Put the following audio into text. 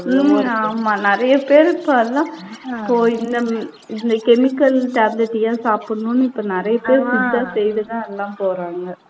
உம் ஆமா நிறைய பேரு இப்ப எல்லாம் இப்போ இந்த, இந்த chemical tablet ஏன் சாப்பிடணும்ன்னு இப்ப நிறைய பேரு சித்தா தான் எல்லாம் போறாங்க.